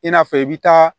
I n'a fɔ i bɛ taa